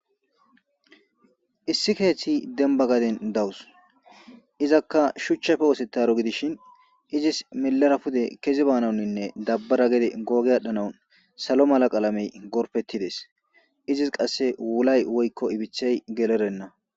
Issi keeththi denba gaden dawus izakka shuchchafe wose taro gidishin izis milara pude keze baanaunninne dabbara gede googe adhdhanawun salo mala qaalamey gorpettides izis qasse wulay woykko ibithey gelerenna